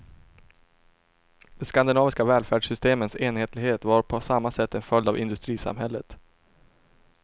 De skandinaviska välfärdssystemens enhetlighet var på samma sätt en följd av industrisamhället.